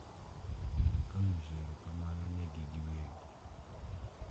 Ka onyiso erokamano negi giwegi.